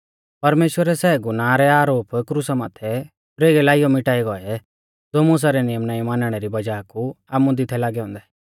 परमेश्‍वरै सै गुनाह रै आरोप क्रुसा माथै परेगै लाइयौ मिटाई गौऐ ज़ो मुसा रै नियम नाईं मानणै री वज़ाह कु आमुदी थै लागै औन्दै